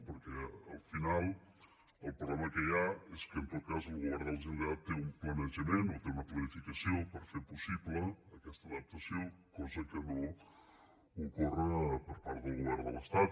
perquè al final el problema que hi ha és que en tot cas el govern de la generalitat té un planejament o té una planificació per fer possible aquesta adaptació cosa que no ocorre per part del govern de l’estat